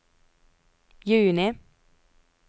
juni